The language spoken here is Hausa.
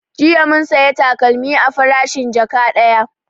Jiya mun saya takalmi a farashin jaka ɗaya